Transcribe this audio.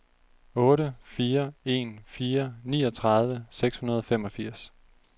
otte fire en fire niogtredive seks hundrede og femogfirs